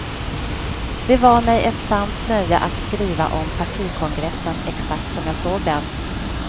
Det var mig ett sant nöje att skriva om partikongressen exakt som jag såg den.